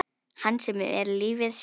Hans sem er lífið sjálft.